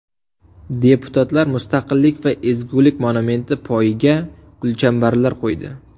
Deputatlar Mustaqillik va ezgulik monumenti poyiga gulchambarlar qo‘ydi .